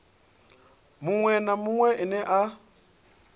munwe na munwe ane a